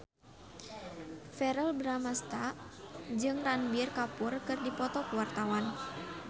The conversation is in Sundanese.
Verrell Bramastra jeung Ranbir Kapoor keur dipoto ku wartawan